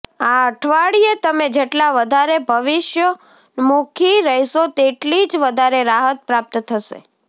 આ અઠવાડિયે તમે જેટલા વધારે ભવિષ્યોન્મુખી રહેશો તેટલી જ વધારે રાહત પ્રાપ્ત થશે